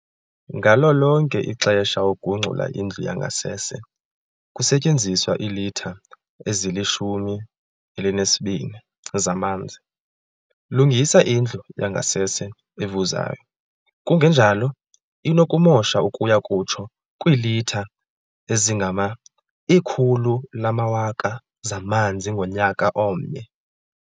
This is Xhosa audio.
Ngalo lonke ixesha ugungxula indlu yangasese, kusetyenziswa iilitha ezili-12 zamanzi. Lungisa indlu yangasese evuzayo kungenjalo inokumosha ukuya kutsho kwiilitha ezingama 100 000 zamanzi ngonyaka omnye.